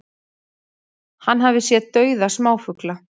Hann hafi séð dauða smáfugla